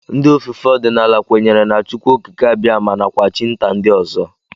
Ndị ofufe ọdịnala kwenyere na Chukwuokikeabiama nakwa chi nta ndị ọzọ